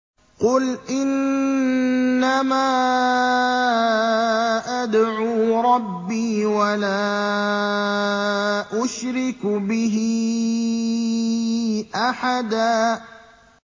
قُلْ إِنَّمَا أَدْعُو رَبِّي وَلَا أُشْرِكُ بِهِ أَحَدًا